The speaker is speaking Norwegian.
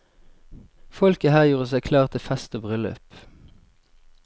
Folket her gjorde seg klar til fest og bryllup.